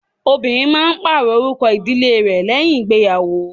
Obìnrin máa ń pàrọ̀ orúkọ ìdílé rẹ̀ lẹ́yìn ìgbéyàwò.